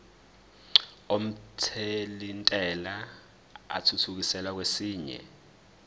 omthelintela athuthukiselwa kwesinye